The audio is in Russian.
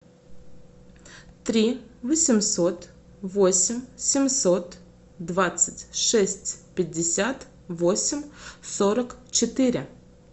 три восемьсот восемь семьсот двадцать шесть пятьдесят восемь сорок четыре